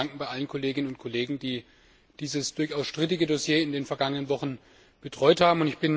Ich bedanke mich bei allen Kolleginnen und Kollegen, die dieses durchaus strittige Dossier in den vergangenen Wochen betreut haben.